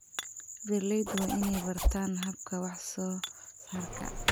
Beeralaydu waa inay bartaan hababka wax soo saarka.